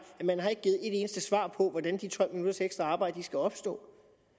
eneste svar på hvordan de tolv minutters ekstra arbejde skal opstå